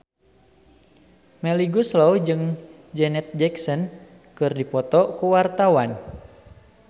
Melly Goeslaw jeung Janet Jackson keur dipoto ku wartawan